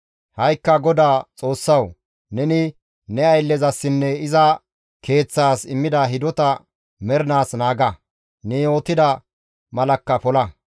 «Ha7ikka GODAA Xoossawu, neni ne ayllezasinne iza keeththaas immida hidotaa mernaas naaga; ne yootida malakka pola;